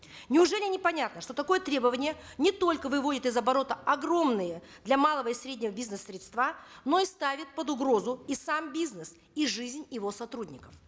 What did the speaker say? неужели непонятно что такое требование не только выводит из оборота огромные для малого и среднего бизнеса средства но и ставит под угрозу и сам бизнес и жизнь его сотрудников